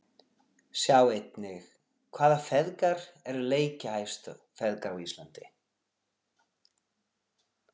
Sjá einnig: Hvaða feðgar eru leikjahæstu feðgar á Íslandi?